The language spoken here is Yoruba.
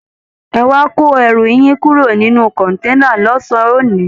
Ẹ wá kó ẹrù yín kúrò nínú kọ̀ǹténà lọ́sàn-án òní!